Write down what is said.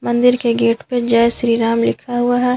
मंदिर के गेट पे जय श्री राम लिखा हुआ है।